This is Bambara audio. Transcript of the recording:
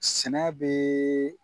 Sɛnɛ be